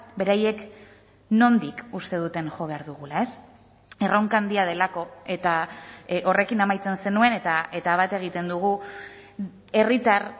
beraiek nondik uste duten jo behar dugula erronka handia delako eta horrekin amaitzen zenuen eta bat egiten dugu herritar